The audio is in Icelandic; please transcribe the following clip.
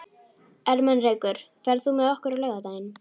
Ermenrekur, ferð þú með okkur á laugardaginn?